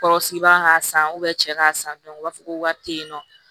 Kɔrɔsigibaga ka san cɛ k'a san u b'a fɔ ko wari te yen nɔ